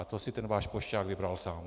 A to si ten váš pošťák vybral sám.